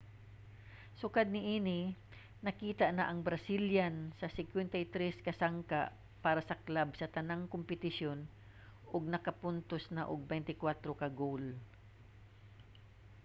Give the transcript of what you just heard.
sukad niini nakita na ang brazilian sa 53 ka sangka para sa club sa tanang kompetisyon ug nakapuntos na og 24 ka goal